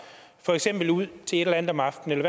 for eksempel ud til et eller andet om aftenen